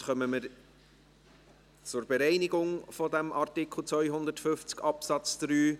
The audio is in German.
Damit kommen wir zur Bereinigung von Artikel 250 Absatz 3.